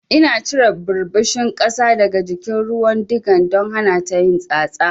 Ina cire ɓirɓishin ƙasa daga jikin ruwan diga don hanata yin tsatsa.